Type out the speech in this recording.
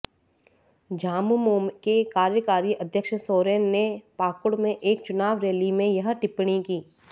झामुमो के कार्यकारी अध्यक्ष सोरेन ने पाकुड़ में एक चुनाव रैली में यह टिप्पणी की